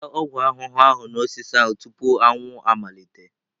Wụsa ọgwụ ahụhụ ahụ n'osisi ahụ tupu anwụ anwụ amalite!